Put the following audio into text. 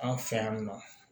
Anw fɛ yan nɔ